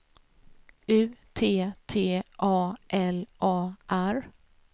U T T A L A R